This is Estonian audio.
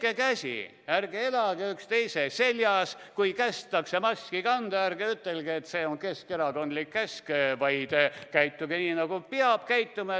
Peske käsi ja ärge elage üksteise seljas ning kui kästakse maski kanda, siis ärge ütelge, et see on keskerakondlik käsk, vaid käituge nii, nagu peab käituma.